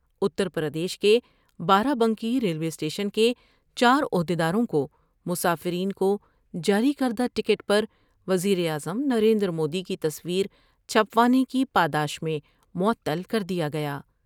اتر پردیش کے بارہ Banki railway station کے چار عہد یداروں کو مسافرین کو جاری کردہ ٹکٹ پر وزیراعظم نریندرمودی کی تصویر چھپوانے کی پاداش میں معطل کر دیا گیا ۔